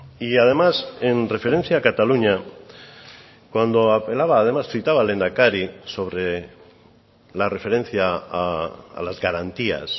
y además en referencia a cataluña cuando apelaba además citaba al lehendakari sobre la referencia a las garantías